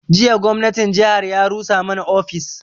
Jiya gwamnatin jihar ya rusa mana ofis